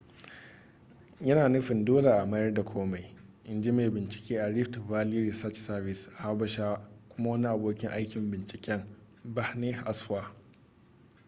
yana nufin dole a mayar da komai in ji mai binciken a rift valley research service a habasha kuma wani abokin aikin binciken berhane asfaw